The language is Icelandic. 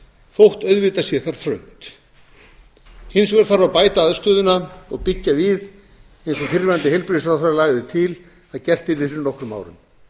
þótt auðvitað sé þar þröngt hins vegar þarf að bæta aðstöðuna og byggja við eins og fyrrverandi heilbrigðisráðherra lagði til að gert yrði fyrir nokkrum árum